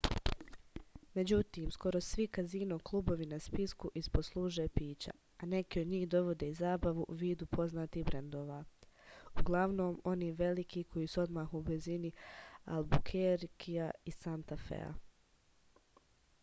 међутим скоро сви казино клубови на списку испод служе пића а неки од њих доводе и забаву у виду познатих брендова углавном они велики који су одмах у близини албукеркија и санта феа